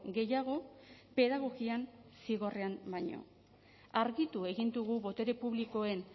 gehiago pedagogian zigorrean baino argitu egin dugu botere publikoen